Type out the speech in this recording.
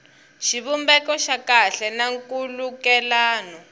xivumbeko xa kahle na nkhulukelano